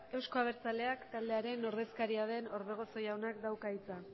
euskal abertzaleak taldearen ordeskaria den orbegozo jaunak dauka hitza